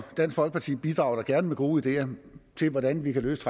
dansk folkeparti bidrager da gerne med gode ideer til hvordan vi kan løse